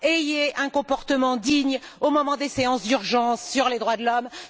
Ayez un comportement digne au moment des séances d'urgence sur les droits de l'homme.